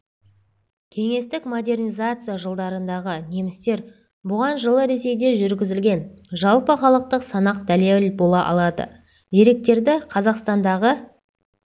кеңестік модернизация жылдарындағы немістер бұған жылы ресейде жүргізілген жалпыхалықтық санақ дәлел бола алады санақ деректері қазақстандағы